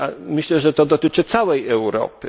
Myślę, że to dotyczy całej Europy.